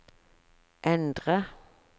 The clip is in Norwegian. endre